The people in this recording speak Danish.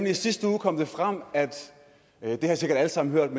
i sidste uge kom det frem det har i sikkert alle sammen hørt